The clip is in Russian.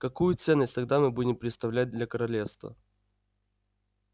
какую ценность тогда мы будем представлять для королевства